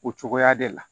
O cogoya de la